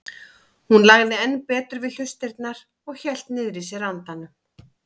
Hún lagði enn betur við hlustirnar og hélt niðri í sér andanum.